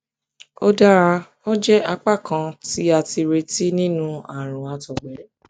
ó dára ó jẹ apá kan tí a tí a retí nínú àrùn àtọgbẹ